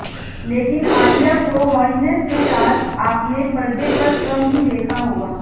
लेकिन आलिया को हाॅटनेस के साथ आपने पर्दे पर कम ही देखा होगा